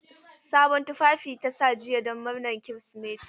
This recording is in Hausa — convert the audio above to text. Sabon tufafi ta sa jiya don murnar Kirsimeti.